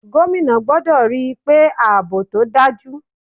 Gómìnà gbọ́dọ̀ ríi pé àbò tó dájú.